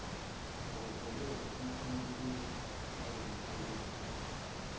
okuholele empumelelweni yalomsebenzi